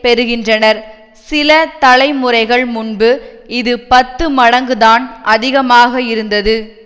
பெறுகின்றனர் சில தலைமுறைகள் முன்பு இது பத்து மடங்குதான் அதிகமாக இருந்தது